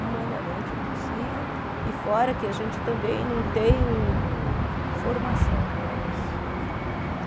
Humanamente impossível e fora que a gente também não tem formação para isso.